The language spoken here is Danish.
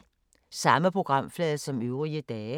Samme programflade som øvrige dage